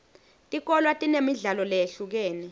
tikolwa tinemidlalo leyehlukene